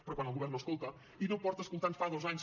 però quan el govern no escolta i no escolta des de fa dos anys